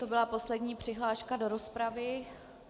To byla poslední přihláška do rozpravy.